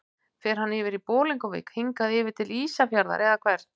Fer hann yfir í Bolungarvík, hingað yfir til Ísafjarðar eða hvert?